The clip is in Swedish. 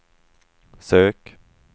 sök